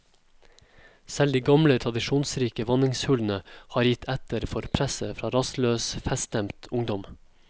Selv de gamle, tradisjonsrike vanningshullene har har gitt etter for presset fra rastløs, feststemt ungdom.